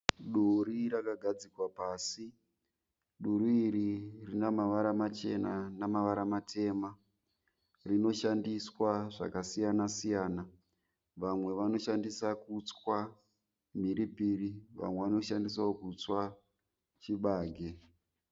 Duri rakagadzikwa pasi. Duri iri rine mavara machena namavara matemba. Rinoshandiswa zvakasiyana siyana. Vamwe vanoshandisa kutswa mhiripiri vamwe vanoshandisawo kutswa chibage.